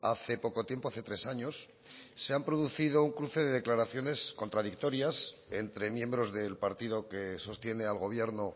hace poco tiempo hace tres años se han producido un cruce de declaraciones contradictorias entre miembros del partido que sostiene al gobierno